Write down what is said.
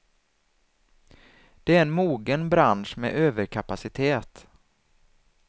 Det är en mogen bransch med överkapacitet.